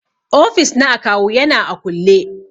Ofis na akawu yana a kulle.